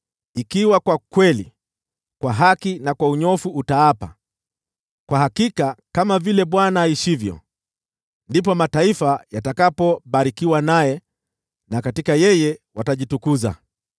ikiwa kwa kweli, kwa haki na kwa unyofu utaapa, ‘Kwa hakika kama vile Bwana aishivyo,’ ndipo mataifa yatakapobarikiwa naye na katika yeye watajitukuza.”